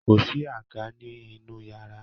kòsí àga ni inu yàrá